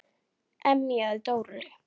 emjaði Dóri.